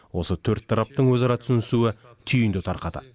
осы төрт тараптың өзара түсінісуі түйінді тарқатады